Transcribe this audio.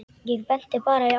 Ég benti bara í áttina.